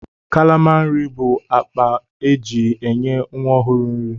Kalama nri bụ akpa e ji enye nwa ọhụrụ nri.